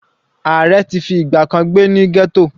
Ààrẹ ti fi ìgbà kan gbé ní ghetto.